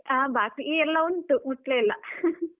ಹಾ, ಬಾಕಿ ಎಲ್ಲ ಉಂಟು ಮುಟ್ಲೇ ಇಲ್ಲ .